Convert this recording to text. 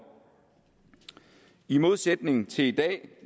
i modsætning til i dag